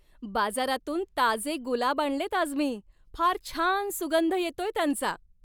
बाजारातून ताजे गुलाब आणलेत आज मी. फार छान सुगंध येतोय त्यांचा.